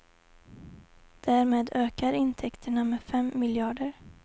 Därmed ökar intäkterna med fem miljarder.